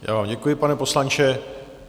Já vám děkuji, pane poslanče.